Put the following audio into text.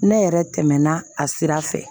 Ne yɛrɛ tɛmɛna a sira fɛ